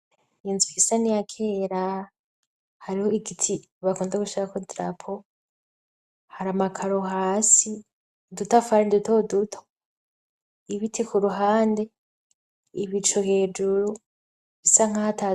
Inzu isa n'iyakera, hariho igiti bakunda gushirako drapo, hari amakaro hasi, udutafari dutoduto, ibiti kuruhande, ibicu hejuru bisa nkaho ata...